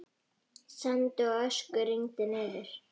Sandi og ösku rigndi niður.